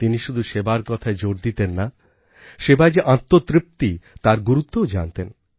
তিনি শুধু সেবার কথায় জোর দিতেন না সেবায় যে আত্মতৃপ্তি তার গুরুত্বও জানতেন